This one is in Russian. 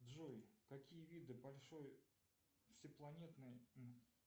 джой какие виды большой всепланетной